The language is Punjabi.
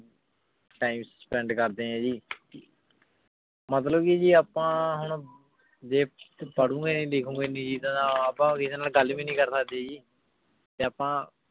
time spend ਕਰਦੇ ਆਂ ਜੀ ਮਤਲਬ ਕੇ ਜੀ ਆਪਾਂ ਹੁਣ ਜੇ ਪਰਹੁ ਲਿਖੁ ਗੇ ਨਾਈ ਆਪਾਂ ਕਿਸੇ ਨਾਲ ਗਲ ਵੀ ਨਾਈ ਕਰ ਸਕਦੇ ਜੀ ਤੇ ਆਪਾਂ